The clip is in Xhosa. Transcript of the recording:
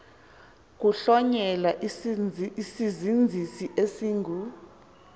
kuhlonyelwa isizinzisi esingu